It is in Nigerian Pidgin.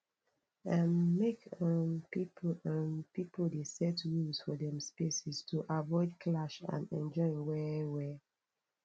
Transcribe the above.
um make um pipo um pipo dey set rules for dem spaces to avoid clash and enjoy well well